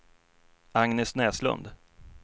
Agnes Näslund